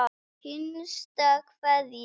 HINSTA KVEÐJA.